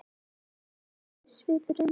Þá mildaðist svipurinn.